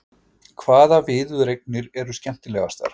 Hvaða viðureignir eru skemmtilegastar?